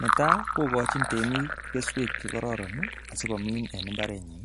Netai kokochi temik keswek chekororon nii asikomin en imbarenyin